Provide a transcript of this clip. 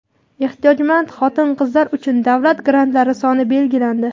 Ehtiyojmand xotin-qizlar uchun davlat grantlari soni belgilandi.